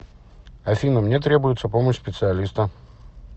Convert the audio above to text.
афина мне требуется помощь специалиста